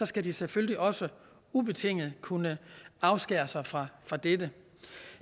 skal de selvfølgelig også ubetinget kunne afskære sig fra fra dette